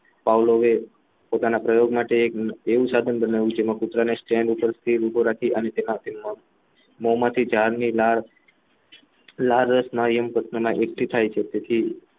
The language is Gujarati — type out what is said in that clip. ભાવલોને પોતાના પ્રયોગ માટે એક એવું સાધન બને છે એ કૂતરાને stand પર ઉભો રાખીને મોંમાંથી લાડ રસના યંત્રને એકઠી થાય છે તેથી